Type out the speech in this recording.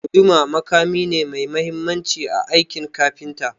Guduma makami ne mai mahimmanci a aikin kafinta.